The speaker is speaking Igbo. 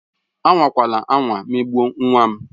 Anwakwala anwa emegbu nwa m!